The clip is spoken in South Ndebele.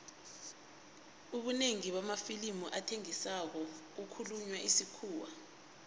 ubunengi bamafilimu athengisako kukhulunywa isikhuwa